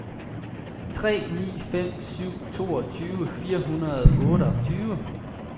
tre ni fem syv toogtyve fire hundrede og otteogtyve